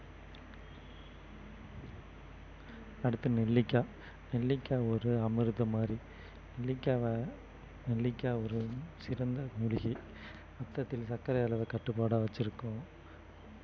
அடுத்து நெல்லிக்கா~ நெல்லிக்காய் ஒரு அமிர்தம் மாறி நெல்லிக்காவை நெல்லிக்காய் ஒரு சிறந்த மூலிகை ரத்தத்தில் சர்க்கரை அளவை கட்டுப்பாடா வச்சிருக்கும்